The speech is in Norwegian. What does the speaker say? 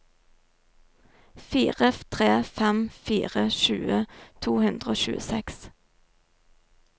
fire tre fem fire tjue to hundre og tjueseks